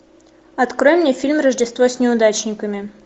открой мне фильм рождество с неудачниками